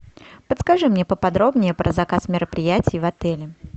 подскажи мне поподробнее про заказ мероприятий в отеле